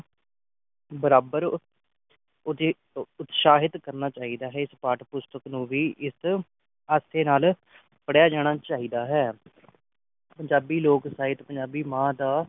ਬਰਾਬਰ ਉਤੇ ਉਤਸਾਹਿਤ ਕਰਨਾ ਚਾਹੀਦਾ ਹੈ ਇਸ ਪਾਠ ਪੁਸਤਕ ਨੂੰ ਵੀ ਇਸ ਹਾਸੇ ਨਾਲ ਪੜ੍ਹਿਆ ਜਾਣਾ ਚਾਹੀਦਾ ਹੈ ਪੰਜਾਬੀ ਲੋਕ ਸਾਹਿਤ ਪੰਜਾਬੀ ਮਾਂ ਦਾ